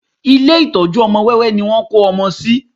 Ilé ìtọ́jú ọmọ wẹ́wẹ́ ni wọ́n kó ọmọ sí